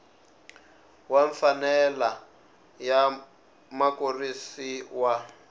wa mfanelo ya mukurisi wa